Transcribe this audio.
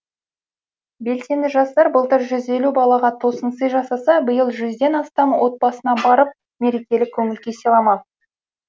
белсенді жастар былтыр жүз елу балаға тосынсый жасаса биыл жүзден астам отбасына барып мерекелік көңіл күй сыйламақ